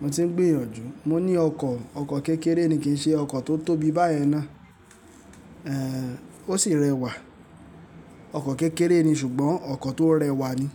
Mo ti ń gbìyànjú. Mo ní ọkọ̀, ọkọ̀ kékeré ni, kì ń ṣe ọkọ̀ tó tóbi báyẹn ná. Èhèń, ó sì rẹwà. Ọkọ̀ kékeré ni ṣùgbọ́n ọkọ̀ tó rẹwà ni.